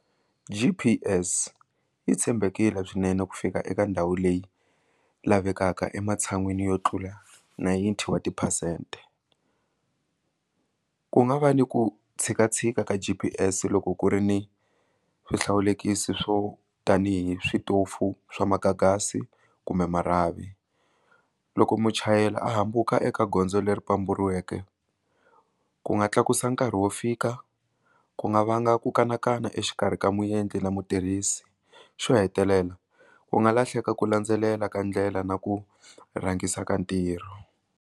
G_p_s yi tshembekile swinene ku fika eka ndhawu leyi lavekaka ematshan'wini yo tlula ninety wa tiphesente ku nga va ni ku tshika tshika ka G_p_s loko ku ri ni swihlawulekisi swo tanihi switofu swa magagasi kumbe marhavi loko muchayeri a hambuka eka gondzo leri pamburiweke ku nga tlakusa nkarhi wo fika ku nga vanga ku kanakana exikarhi ka muendli na mutirhisi xo hetelela u nga lahleka ku landzelela ka ndlela na ku rhangisa ka ntirho.